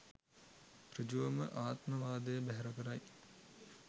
ඍජුවම ආත්මවාදය බැහැර කරයි.